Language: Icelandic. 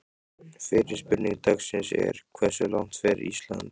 Fyrri spurning dagsins er: Hversu langt fer Ísland?